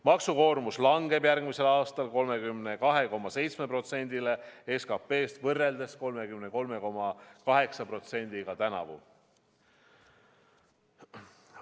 Maksukoormus langeb järgmisel aastal 32,7%-le SKP-st võrreldes 33,8%-ga tänavu.